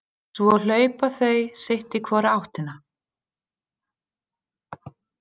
Svo hlaupa þau sitt í hvora áttina.